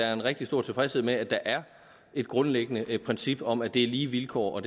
er en rigtig stor tilfredshed med at der er et grundlæggende princip om at det er lige vilkår og